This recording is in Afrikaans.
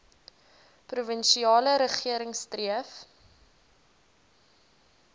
provinsiale regering streef